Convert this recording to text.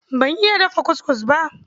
Ban iya dafa kuskus ba.